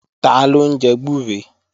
Taló ń jẹ gbúre?